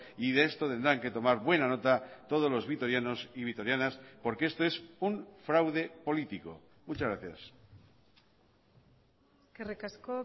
y de esto tendrán que tomar buena nota todos los vitorianos y vitorianas porque esto es un fraude político muchas gracias eskerrik asko